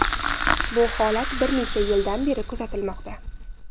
Bu holat bir necha yildan beri kuzatilmoqda.